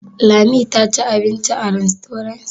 Lami ta ci abinci a rastorant?